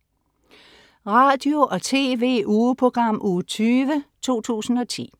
Radio- og TV-ugeprogram Uge 20, 2010